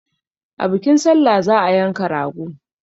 Da bikin salla za a yanka rago.